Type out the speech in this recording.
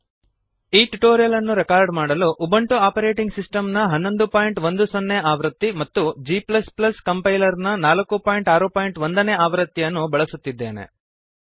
ಈ ಟ್ಯುಟೋರಿಯಲ್ ಅನ್ನು ರೆಕಾರ್ಡ್ ಮಾಡಲು ಉಬುಂಟು ಆಪರೇಟಿಂಗ್ ಸಿಸ್ಟಮ್ ನ 1110 ನೇ ಆವೃತ್ತಿ ಮತ್ತು g ಕಂಪೈಲರ್ ನ 461 ನೇ ಆವೃತ್ತಿಯನ್ನು ಬಳಸುತ್ತಿದ್ದೇನೆ